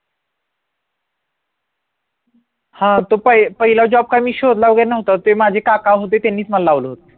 हा तो पहिला job काय मी शोधला वगैरे नव्हता ते माझे काका होते त्यांनीच मला लावला होतं